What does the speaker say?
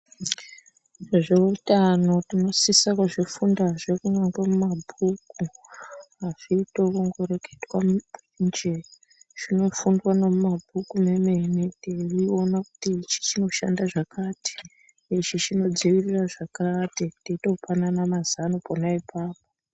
Nezvehutano tinosisa kuzvifunda zvekubva kumabhuku azviitwi yekungoreketwa kuti nje zvinofundwa nemumabhuku teiona kuti ichi chinoshanda zvakati ichi chinodzivirira zvakati teitopanana mazano pona ipapo.